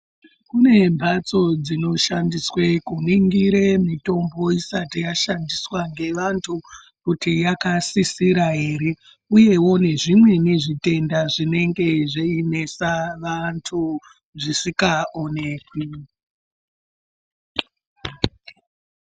Kune mbatso dzinoshandiswe kuningire mitombo isati yaishandiswa ngevantu kuti yakasisira ere uyewo nezvimweni zvitenda zvinenge zveinesa vantu zvisikaonekwi.